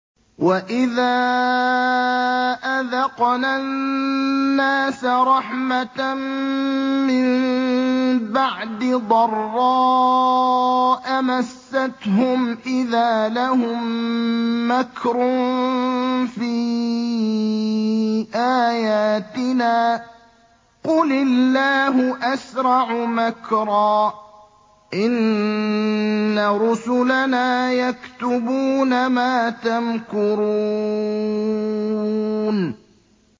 وَإِذَا أَذَقْنَا النَّاسَ رَحْمَةً مِّن بَعْدِ ضَرَّاءَ مَسَّتْهُمْ إِذَا لَهُم مَّكْرٌ فِي آيَاتِنَا ۚ قُلِ اللَّهُ أَسْرَعُ مَكْرًا ۚ إِنَّ رُسُلَنَا يَكْتُبُونَ مَا تَمْكُرُونَ